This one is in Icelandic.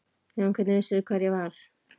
Já en hvernig vissirðu hvar ég var?